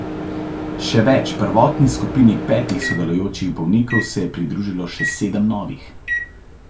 Še več, prvotni skupini petih sodelujočih bolnikov se je pridružilo še sedem novih.